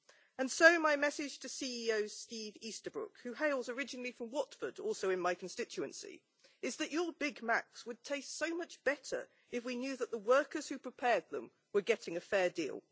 And so, my message to CEO Steve Easterbrook, who hails originally from Watford also in my constituency is that your Big Macs would taste so much better if we knew that the workers who prepared them were getting a fair deal.